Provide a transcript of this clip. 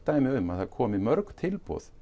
dæmi um að það komi mörg tilboð